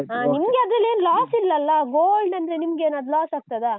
overlp ಹಾ. ನಿಮ್ಗೆ ಅದ್ರಲ್ಲಿ ಏನೂ loss ಇಲ್ಲಲ್ಲ gold ಅಂದ್ರೆ ನಿಮ್ಗೇನಾದ್ರೂ loss ಆಗ್ತದಾ?